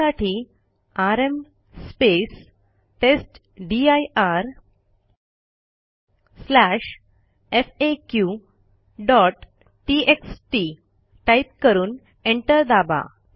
त्यासाठी आरएम testdirfaqटीएक्सटी टाईप करून एंटर दाबा